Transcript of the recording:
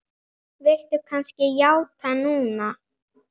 Viltu kannski játa núna?